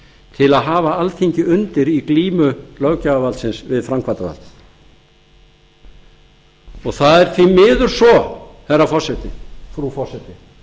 til að hafa alþingi undir í glímu löggjafarvaldsins við framkvæmdarvaldið það er því miður svo frú forseti